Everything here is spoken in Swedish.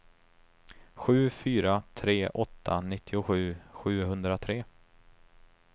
sju fyra tre åtta nittiosju sjuhundratre